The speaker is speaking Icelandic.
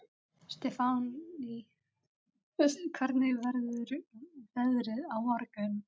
Stefánný, hvernig verður veðrið á morgun?